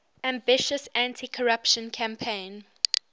ambitious anticorruption campaign